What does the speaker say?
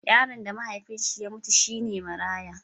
Yaron da mahaifinsa ya mutu shi ne maraya.